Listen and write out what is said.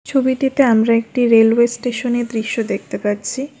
ছবিটিতে আমরা একটি রেলওয়ে স্টেশনের দৃশ্য দেখতে পাচ্ছি।